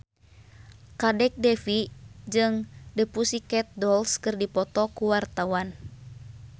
Kadek Devi jeung The Pussycat Dolls keur dipoto ku wartawan